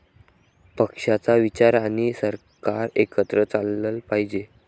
पक्षाचा विचार आणि सरकार एकत्र चाललं पाहिजे.